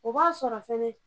O b'a sɔrɔ fɛnɛ.